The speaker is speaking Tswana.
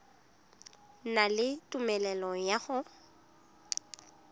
na le tumelelo ya go